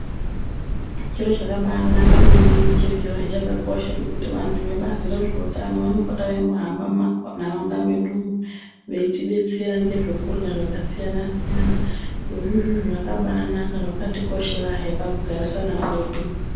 Chiro chakabaanaka maningi chirichozve chakakosha chekuti vantu vebazi rezveutano vanopota veimbohamba mumantaraunda medu umu, veitidetsera ngezvekurya zvakasiyana-siyana. Zvirozvi izvizvi zvakabaanaka, zvakatikosherahe pakugarisana kwedu.